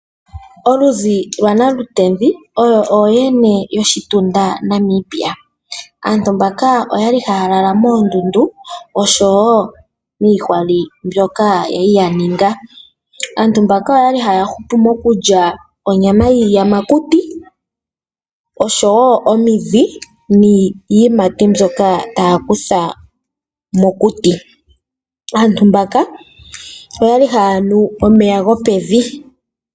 Oludhi lwaNalutezi oyo ooyene yoshitunda Namibia. Aantu mbaka oya li haya lala moondundu noshowo miitsali mbyoka ya li ya ninga. Aantu mbaka oya li haya hupu mokulya onyama yiiyamakuti, omidhi noshowo iiyimati mbyoka taya kutha mokuti. Aantu mbaka oya li haya nu omeya gopevi.